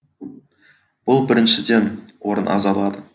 бұл біріншіден орын аз алады